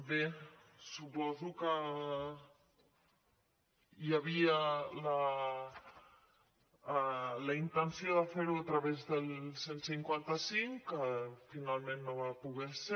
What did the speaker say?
bé suposo que hi havia la intenció de fer ho a través del cent i cinquanta cinc que finalment no va poder ser